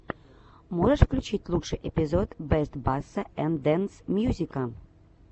можешь включить лучший эпизод бест басса энд денс мьюзика